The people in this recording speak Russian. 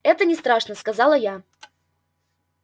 это не страшно сказала я